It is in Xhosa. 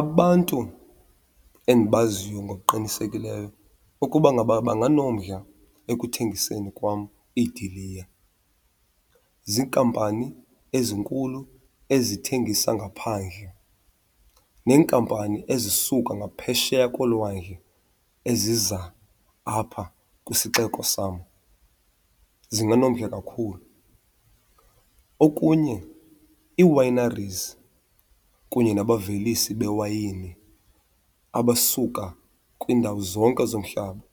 Abantu endibaziyo ngokuqinisekileyo ukuba ngaba banganomdla ekuthengiseni kwam idiliya ziikampani ezinkulu ezithengisa ngaphandle, neenkampani ezisuka ngaphesheya kolwandle eziza apha kwisixeko sam zinganomdla kakhulu. Okunye ii-wineries kunye nabavelisi bewayini abasuka kwiindawo zonke zomhlaba